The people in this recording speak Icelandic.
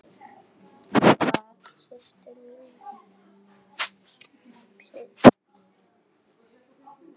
Það styttir mjög leiðir.